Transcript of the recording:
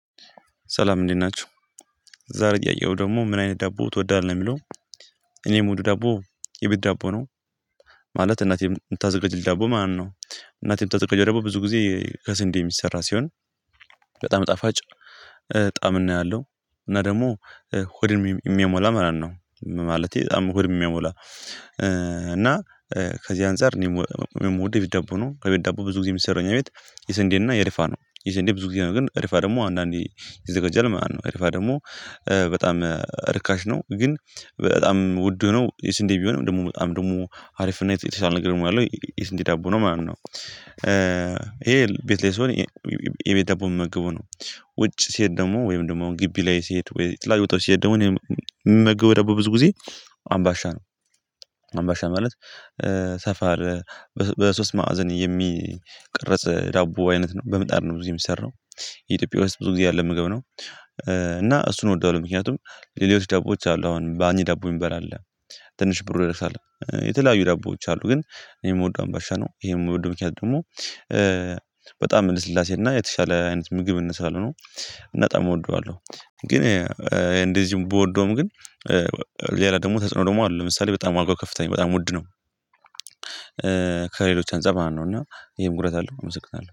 ሰላም እንዴት ናቹ? ዛሬ ጥያቄው ደግሞ ምን አይነት ዳቦ ትወዳለህ የሚለው። እኔ የምወደው ዳቦ የቤት ዳቦ ነው። ማለት እናቴ የምታዘጋጅል ዳቦ ማለት ነው። እናቴ የምታዘጋጀው ዳቦ ብዙ ጊዜ ከስንዴ የሚሰራ ሲሆን በጣም ጣፋጭ፣ ጣዕምና ያለው እና ደግሞ ሆድን የሚያሞላ ማለት ነው። ማለቴ በጣም ሆድ የሚሞላ እና ከዚህ አንፃር የምወድ የቤት ዳቦ ነው። ከቤት ዳቦ ብዙ ጊዜ የሚሰራው እኛ ቤት የስንዴና የርፋ ነው የስንዴ ብዙ ጊዜ ነው ግን ርፋ ደግሞ አንዳንዴ ይዘገጃል ማለት ነው። ከርፋ ደግሞ በጣም ርካሽ ነው ግን በጣም ውድ ነው የስንዴ ቢሆንም ደግሞ በጣም ደግሞ አሪፍ እና የተሻለ ነገር ያለው የስንዴ ዳቦ ነው ማለት ነው። ኧ ይሄ ቤት ላይ ሲሆን የ የቤት ዳቦ ምመገበው ነው። ውጭ ሲሄድ ደግሞ ወይም ደግሞ አሁን ግቢ ላይ ሲሄድ የተለያዩ ቦታዎች ሲሄድ ምመገበው ዳቦ ብዙ ጊዜ አምባሻ ነው። አምባሻ ማለት ሰፋር በሶስት ማዕዘን የሚቀረጽ ዳቦ አይነት ነው። በምጣድ ነው ብዙ ጊዜ የሚሰራው። የኢትዮጵያ ውስጥ ብዙ ጊዜ ያለ ምግብ ነው። እና እሱን እወደዋለሁ ምክንያቱም ሌሎች ዳቦዎች አሉ አሁን ባኒ ዳቦ የሚባል አለ። ትንሽ ብሩ ይረክሳል። የተለያዩ ዳቦዎች አሉ ግን እኔ የምወደው አምባሻ ነው። ይሄም ምክንያት ደግሞ በጣም ልስላሴ እና የተሻለ አይነት ምግብነት ስላለው ነው። በጣም እወደዋለሁ ግን እንደዚህም ብወደውም ግን እ ኧ ሌላ ደግሞ ተጽዕኖ ደግሞ አለው። ለምሳሌ በጣም ዋጋው ከፍተኛ በጣም ውድ ነው። ኧ ከሌሎች አንፀር ማለት ነው እና ይሄን ጉዳት አለው አመሰግናለሁ።